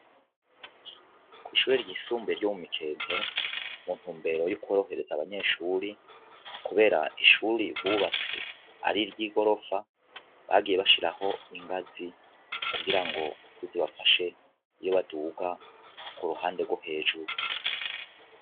Kw'ishuri ry'isumbuye ryo mu mikente mu ntumbero y'ukuborohereza abanyeshuri, kubera ishuri bubatse ari ryo i gorofa bagiye bashiraho ingazi kugira ngo sizibafashe iyo baduga ku ruhande rwo hejuru.